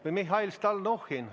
Või Mihhail Stalnuhhin.